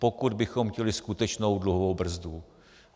Pokud bychom chtěli skutečnou dluhovou brzdu.